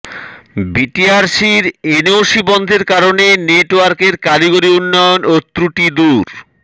বিটিআরসির এনওসি বন্ধের কারণে নেটওয়ার্কের কারিগরি উন্নয়ন ও ত্রুটি দূর